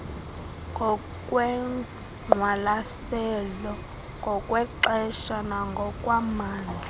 ngokwengqwalaselo ngokwexesha nangokwamandla